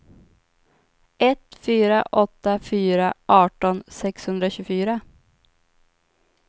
ett fyra åtta fyra arton sexhundratjugofyra